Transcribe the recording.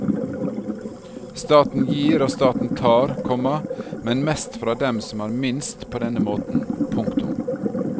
Staten gir og staten tar, komma men mest fra dem som har minst på denne måten. punktum